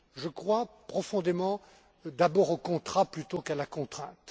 Je crois profondément d'abord au contrat plutôt qu'à la contrainte.